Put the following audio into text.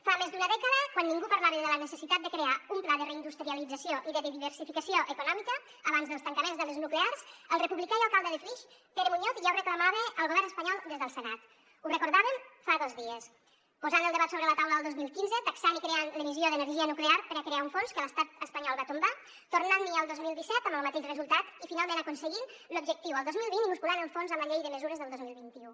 fa més d’una dècada quan ningú parlava de la necessitat de crear un pla de reindustrialització i de diversificació econòmica abans dels tancaments de les nuclears el republicà i alcalde de flix pere muñoz ja ho reclamava al govern espanyol des del senat ho recordàvem fa dos dies posant el debat sobre la taula el dos mil quinze taxant i creant l’emissió d’energia nuclear per a crear un fons que l’estat espanyol va tombar tornant hi el dos mil disset amb el mateix resultat i finalment aconseguint l’objectiu el dos mil vint i musculant el fons amb la llei de mesures del dos mil vint u